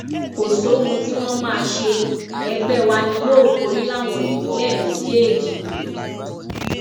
kò sóhun tí wọn máa ṣe ẹgbẹ wa ni yóò borí láwọn ìpínlẹ méjèèjì yìí